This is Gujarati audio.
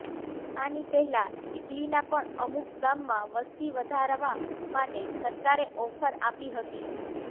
આની પહેલા ઇટલીના પણ અમુક ગામમાં વસ્તી વધારવા માટે સરકારે ઑફર આપી હતી